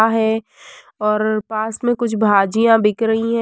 आहे और पास मे कुछ भाजियां बिक रही हैं।